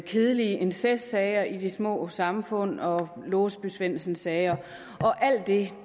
kedelige incestsager i de små samfund og låsby svendsen sager og alt det